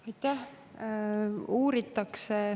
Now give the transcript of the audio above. Aitäh!